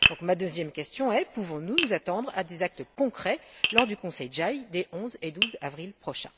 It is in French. Donc, ma deuxième question est la suivante pouvons nous nous attendre à des actes concrets lors du Conseil JAI des 11 et 12 avril prochains?